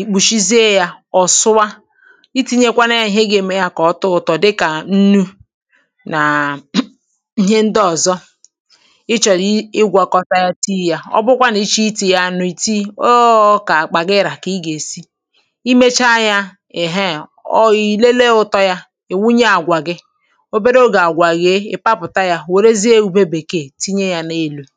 ì kpùshizie yȧ ọ̀ sụwa iti̇nyekwa nà ya ihe gà-èmeka kà ọtọ ụ̇tọ̇ dịkà nnu̇ nàà ihe ǹdeọ̀zọ ị chọ̀rọ̀ igwȧkọ̀ta ya tii yȧ ọ bụkwa nà ichè iti̇ ya nụ̀rụ̀ i̇ tii oo kà àkpàgịrà kà ị gà-èsi i mecha yȧ èheè ọ ì lelee ụ̇tọ̇ ya ì wunye àgwà gị ihe ọ̇tụ̇tụ̇ ndị nȧlụ̇ màkà ọ̀zọ kà obì ọ̀tutu ahụ̀ ọbụghị̇ ịgȧ, ị̀tụtụ ndị nà-àdị n’elu̇ màkà ọ̀tụtụ ndị nà-àdị nà-àdị